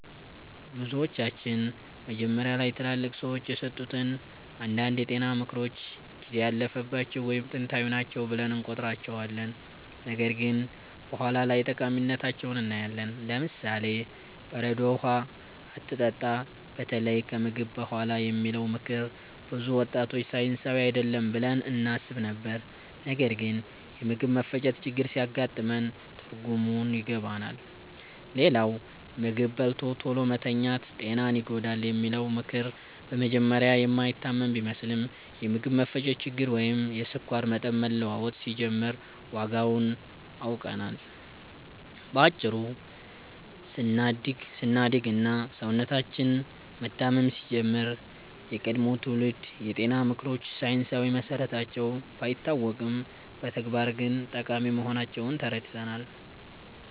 ብዙዎቻችን መጀመሪያ ላይ ትላልቅ ሰዎች የሰጡትን አንዳንድ የጤና ምክሮች ጊዜ ያለፈባቸው ወይም ጥንታዊ ናቸው ብለን እንቆጥራቸዋለን፣ ነገር ግን በኋላ ላይ ጠቃሚነታቸውን እናያለን። ለምሳሌ፦ "በረዶ ውሃ አትጠጣ፣ በተለይ ከምግብ በኋላ" የሚለው ምክር ብዙ ወጣቶች ሳይንሳዊ አይደለም ብለን እናስብ ነበር፣ ነገር ግን የምግብ መፈጨት ችግር ሲያጋጥመን ትርጉሙን ይገባናል። ሌላው "ምግብ በልቶ ቶሎ መተኛት ጤናን ይጎዳል" የሚለው ምክር በመጀመሪያ የማይታመን ቢመስልም፣ የምግብ መፈጨት ችግር ወይም የስኳር መጠን መለዋወጥ ሲጀምር ዋጋውን አውቀናል። በአጭሩ ስናድግ እና ሰውነታችን መታመም ሲጀምር፣ የቀድሞ ትውልድ የጤና ምክሮች ሳይንሳዊ መሰረታቸው ባይታወቅም በተግባር ግን ጠቃሚ መሆናቸውን ተረድተናል።